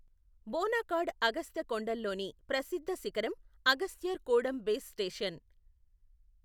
బోనాకాడ్ అగస్త్య కొండల్లోని ప్రసిద్ధ శిఖరం అగస్త్యర్ కూడమ్ బేస్ స్టేషన్.